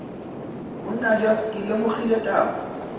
monna jeff ke lemogile taba